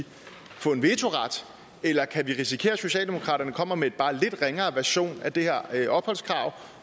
få en vetoret eller kan vi risikere at socialdemokraterne kommer med en bare lidt ringere version af det her opholdskrav